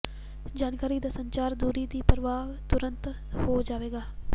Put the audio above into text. ਜਾਣਕਾਰੀ ਦਾ ਸੰਚਾਰ ਦੂਰੀ ਦੀ ਪਰਵਾਹ ਤੁਰੰਤ ਹੋ ਜਾਵੇਗਾ